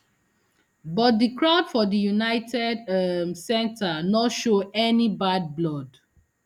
but di crowd for di united um centre no show any bad blood